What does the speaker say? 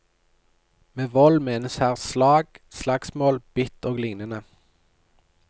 Med vold menes her slag, slagsmål, bitt og lignende.